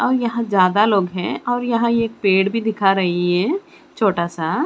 और यहां ज्यादा लोग हैं और यहां एक पेड़ भी दिखा रही है छोटा सा।